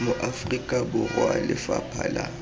mo aforika borwa lefapha la